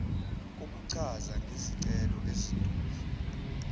kokuchaza ngezicelo ezedlule